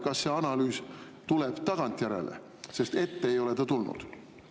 Kas see analüüs tuleb tagantjärele, sest ette ei ole ta tulnud?